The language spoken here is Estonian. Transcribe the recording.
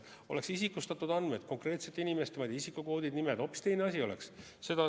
Oleks isikustatud andmed, konkreetsete inimeste isikukoodid, nimed – hoopis teine asi oleks.